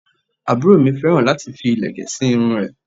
Aburo mi féràn láti fi ìlẹ̀kẹ̀ sí irun rẹ̀